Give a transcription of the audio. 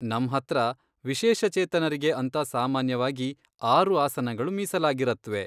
ನಮ್ಹತ್ರ ವಿಶೇಷಚೇತನರಿಗೆ ಅಂತ ಸಾಮಾನ್ಯವಾಗಿ ಆರು ಆಸನಗಳು ಮೀಸಲಾಗಿರತ್ವೆ.